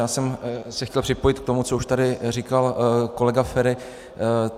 Já jsem se chtěl připojit k tomu, co už tady říkal kolega Feri.